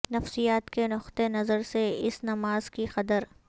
نفسیات کے نقطہ نظر سے اس نماز کی قدر